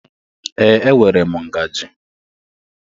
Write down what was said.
Ee, enwere m ngaji